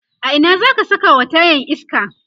a Ina zaka Saka wa tayan iska?